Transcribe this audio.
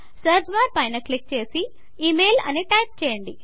search bar పైన click చేసి email అని టైప్ చేయండి